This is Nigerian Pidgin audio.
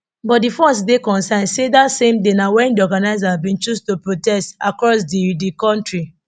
but di force dey concerned say dat same day na wen di organisers bin choose to protest across di di kontri